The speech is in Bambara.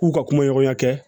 K'u ka kumaɲɔgɔnya kɛ